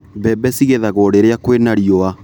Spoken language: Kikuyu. Mbembe cigethagwo rĩrĩa kwĩna riũa.